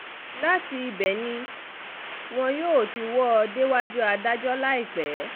láti ibẹ̀ ni wọn yóò ti wò ó déwájú adájọ́ láìpẹ́